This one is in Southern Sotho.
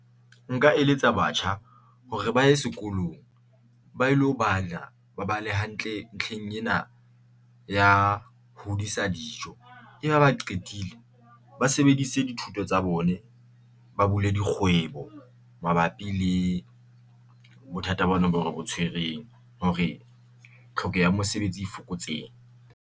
Nka eletsa batjha hore ba ye sekolong ba ilo bala ba bale hantle ntlheng ena ya hodisa dijo e be ha ba qetile ba sebedise dithuto tsa bone, ba bule dikgwebo mabapi le bothata bona bo re botshwereng hore hlokeho ya mesebetsi e fokotsehe.